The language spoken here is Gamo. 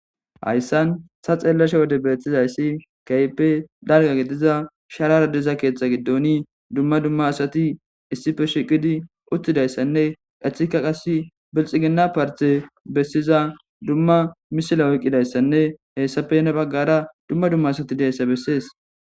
hayssan ta xeellasha wode beeththizayssi kayppe darga gidiza sharara deza keethta giddoni dumma dumma asati issife shiqidi uttidayssanne ethika qasi bilxigina parte bessiza dumma misila oyqqidayssanne heessapene baggara dumma dumma asati deayssa bessees